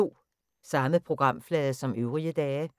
Samme programflade som øvrige dage